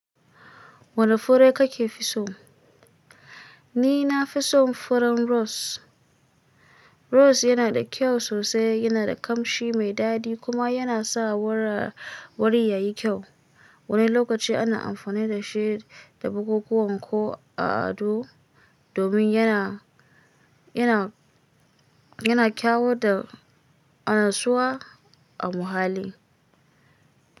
Wane fure kake fi so? Ni na fi son furen rose. Rose yana da kyau sosai, yana da kamshi mai daɗi kuma yana sa wuri ya yi kyau. Wani lokaci ana amfani da shi da bukukuwa ko a ado domin yana, yana, yana kyau da anasuwa a muhalli.